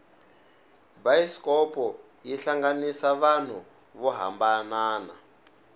bayisikopo yi hlanganisa vanhu vo hambanana